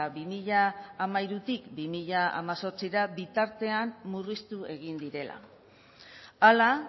bi mila hamairutik bi mila hemezortzira bitartean murriztu egin direla hala